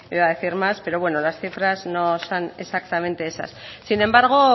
iba a decir más pero bueno las cifras no son exactamente esas sin embargo